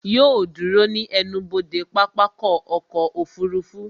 Yóò ó dúró ní ẹnubodè pápákọ̀ ọkọ̀ òfurufú